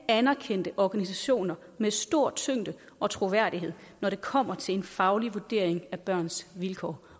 anerkendte organisationer med stor tyngde og troværdighed når det kommer til en faglig vurdering af børns vilkår